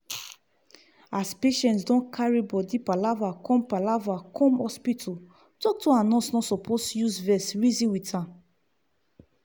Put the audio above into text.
as patient don carrry body palava come palava come hospital doctor and nurse no supose use vex reason with am.